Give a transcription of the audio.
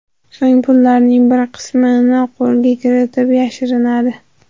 So‘ng pullarning bir qismini qo‘lga kiritib, yashirinadi.